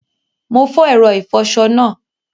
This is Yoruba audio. Mo fo èro ìfoso náà